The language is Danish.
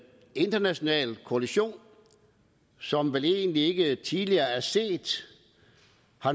international koalition som vel egentlig ikke tidligere er set